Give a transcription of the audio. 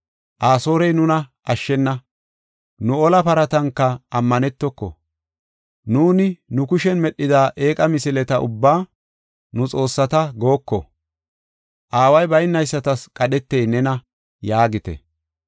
Asoorey nuna ashshena; nu ola paratanka ammanetoko. Nuuni nu kushen medhida eeqa misileta ubbaa, ‘Nu xoossata’ gooko. Aaway baynaysatas qadhetey nena” yaagite.